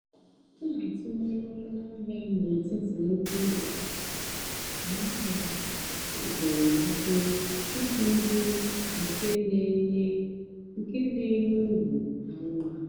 m nà-àtụ́nyeré ónú àhịá n'étìtì nnùkwú ụ́lọ àhịá nà àhịá mépérè émépérè ìjì hụ́ nkè nà-ènyé nkè nà-ènyé ùrù kà mmá.